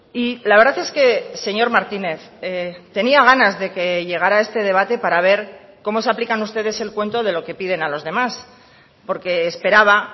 y la verdad es que señor martínez tenía ganas de que llegara este debate para ver cómo se aplican ustedes el cuento de lo que piden a los demás porque esperaba